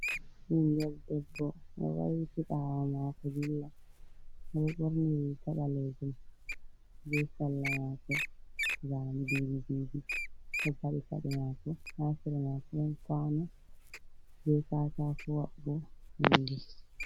Ɓingel debbo ɗo wailiti ɓawo mako dilla, oɗo ɓorni riga mako ɓalejum be salla mako zane didi didi, oɗo faɗi pade mako hasera mako nɗon kwano be katako wa'ugo bindi.